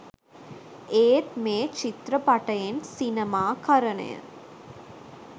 ඒත් මේ චිත්‍රපටයෙන් සිනමාකරණය